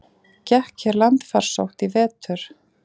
Gekk hér landfarsótt í vetur?